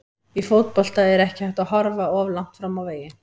Í fótbolta er ekki hægt að horfa of langt fram á veginn.